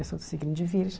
Eu sou do signo de virgem.